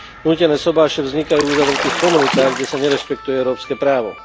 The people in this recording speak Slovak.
Nútené sobáše vznikajú v uzavretých komunitách, kde sa nerešpektuje európske právo.